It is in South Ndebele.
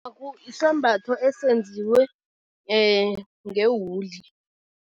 Isambatho esenziwe ngewuli.